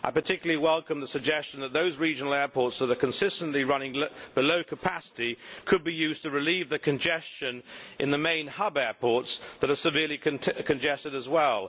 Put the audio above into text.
I particularly welcome the suggestion that those regional airports which are consistently running at low capacity could be used to relieve the congestion in the main hub airports which are severely congested as well.